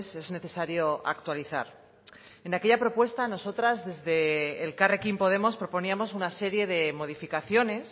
es necesario actualizar en aquella propuesta nosotras desde elkarrekin podemos proponíamos una serie de modificaciones